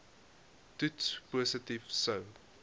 toets positief sou